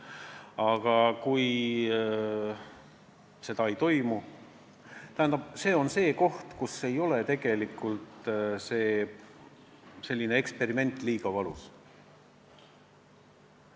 Aga kui seda ei toimu, siis see tähendab, et tegelikult ei olnud see eksperiment liiga valus.